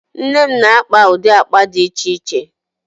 Nne m na-akpa ụdị akpa dị iche iche